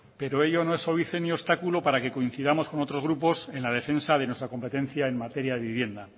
pero ello no es óbice ni obstáculo para que coincidamos con otros grupos en la defensa de nuestra competencia en materia de vivienda